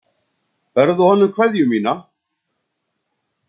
Berðu honum kveðju mína.